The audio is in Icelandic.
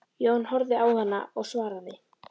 Jón horfði á hana og svaraði